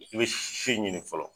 I bɛ se si ɲini fɔlɔ.